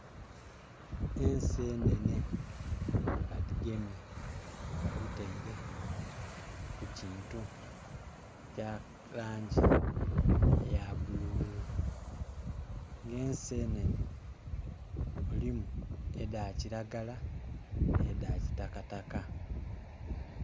Ensenene badhigemye badhiteire ku kintu ekya langi eya bululu nga ensenene mulimu edha kilagala ne dha kitakataka.